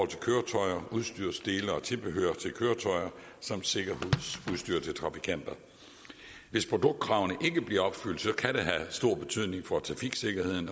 til køretøjer udstyrsdele og tilbehør til køretøjer samt sikkerhedsudstyr til trafikanter hvis produktkravene ikke bliver opfyldt kan det have stor betydning for trafiksikkerheden